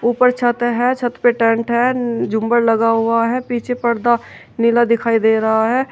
ऊपर छत है छत पे टेंट है झुंबर लगा हुआ है पीछे पर्दा नीला दिखाई दे रहा है।